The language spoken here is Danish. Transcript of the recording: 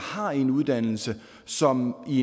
har en uddannelse som i